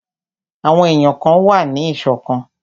Àwọn èyàn kan wà ní ìṣọ̀kan.